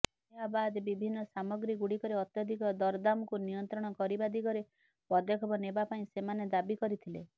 ଏହାବାଦ୍ ବିଭିନ୍ନ ସାମଗ୍ରୀ ଗୁଡ଼ିକରେ ଅତ୍ୟଧିକ ଦରଦାମ୍କୁ ନିୟନ୍ତ୍ରଣ କରିବା ଦିଗରେ ପଦକ୍ଷେପ ନେବାପାଇଁ ସେମାନେ ଦାବି କରିଥିଲେ